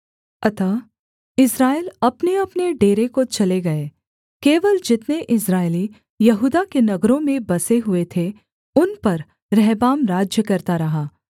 अतः इस्राएल अपनेअपने डेरे को चले गए केवल जितने इस्राएली यहूदा के नगरों में बसे हुए थे उन पर रहबाम राज्य करता रहा